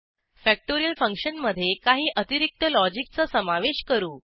factorial फंक्शनमधे काही अतिरक्त लॉजिकचा समावेश करू